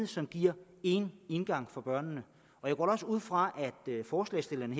som giver én indgang for børnene jeg går da også ud fra at forslagsstillerne